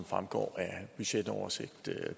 fremgår af budgetoversigt